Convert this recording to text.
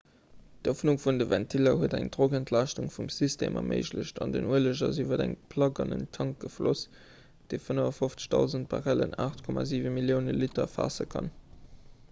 d'ëffnung vun de ventiller huet eng drockentlaaschtung vum system erméiglecht an den ueleg ass iwwer eng plack an en tank gefloss dee 55 000 barrellen 8,7 millioune liter faasse kann